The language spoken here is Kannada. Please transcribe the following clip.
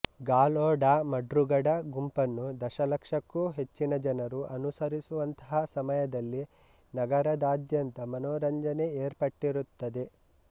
ಗಾಲೊ ಡಾ ಮಡ್ರುಗಡ ಗುಂಪನ್ನು ದಶಲಕ್ಷಕ್ಕೂ ಹೆಚ್ಚಿನ ಜನರು ಅನುಸರಿಸುವಂತಹಾ ಸಮಯದಲ್ಲಿ ನಗರದಾದ್ಯಂತ ಮನರಂಜನೆ ಏರ್ಪಟ್ಟಿರುತ್ತದೆ